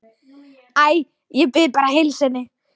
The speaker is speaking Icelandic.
Æ, ég bið bara að heilsa henni